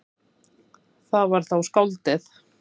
Það var þá skáldið.